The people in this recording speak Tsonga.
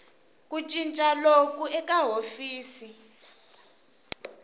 ku cinca loku eka hofisi